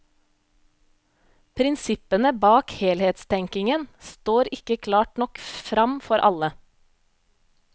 Prinsippene bak helhetstenkingen står ikke klart nok fram for alle.